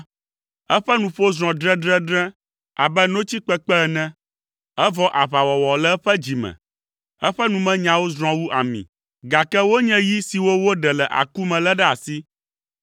Eƒe nuƒo zrɔ̃ dredredre abe notsi kpekpe ene, evɔ aʋawɔwɔ le eƒe dzi me; eƒe numenyawo zrɔ̃ wu ami, gake wonye yi siwo woɖe le aku me lé ɖe asi.